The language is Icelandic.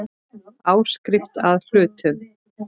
Áskrift að hlutum.